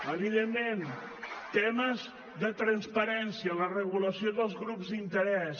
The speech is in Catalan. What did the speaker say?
evidentment temes de transparència la regulació dels grups d’interès